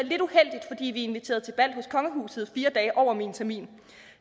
inviteret til bal i kongehuset fire dage over min termin